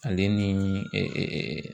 Ale ni